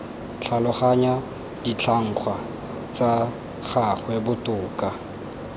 tlhaloganya ditlhangwa tsa gagwe botoka